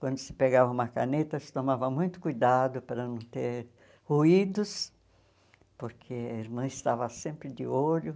Quando se pegava uma caneta, se tomava muito cuidado para não ter ruídos, porque a irmã estava sempre de olho.